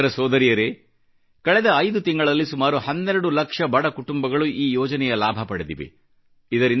ಸೋದರ ಸೋದರಿಯರೇ ಕಳೆದ 5 ತಿಂಗಳಲ್ಲಿ ಸುಮಾರು 12 ಲಕ್ಷ ಬಡ ಕುಟುಂಬಗಳು ಈ ಯೋಜನೆಯ ಲಾಭ ಪಡೆದಿವೆ